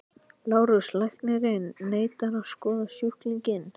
LÁRUS: Læknirinn neitar að skoða sjúklinginn.